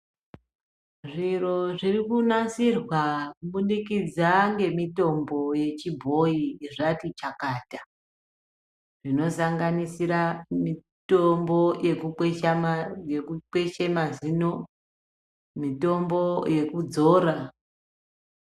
Zviro zviri kunasirwa kubudikidza ngemitombo yechibhoyi zvati chakata, zvinosanganisira mitombo yekukweshe mazino, mitombo yekudzora.